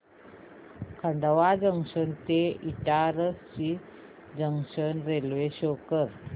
Khandwa junction ते Itarsi junction railway show कर